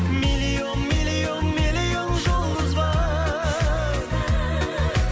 миллион миллион миллион жұлдыз бар